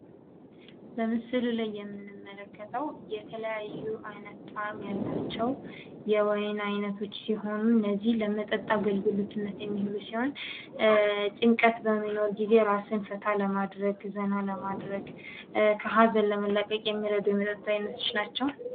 በምስሉ ላይ የምንመለከታቸው የተለያየ ጣእም ያላቸው የወይን አይነቶች ሲሆኑ፤ በጫንቀት ጊዜ ራስን ፈታ ለማድረግ፣ ለምዝናናት የሚያገለግሉ የመጠጥ አይነቶች ናቸው ።